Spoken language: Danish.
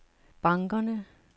bankerne